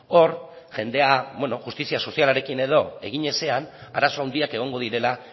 hor jendea justizia sozialarekin edo egin ezean arazo handiak egongo direla